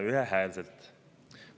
ühehäälselt.